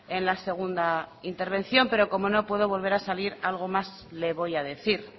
en la segunda intervención pero como no puedo volver a salir algo más le voy a decir